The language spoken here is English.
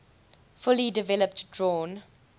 fully developed drawn